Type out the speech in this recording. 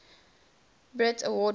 brit award winners